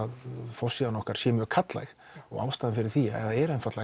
forsíðan okkar sé mjög karllæg ástæðan fyrir því er einfaldlega